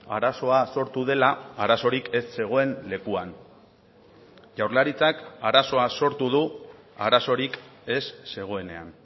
arazoa sortu dela arazorik ez zegoen lekuan jaurlaritzak arazoa sortu du arazorik ez zegoenean